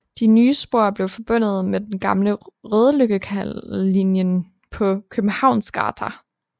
De nye spor blev forbundet med den gamle Rodeløkkalinjen på Københavnsgata